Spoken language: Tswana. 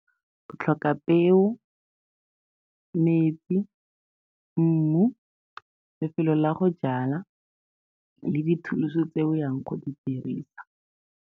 Go tlhoka peo, metsi, mmu, lefelo la go jala, le di-tools-e tse o yang go di dirisa.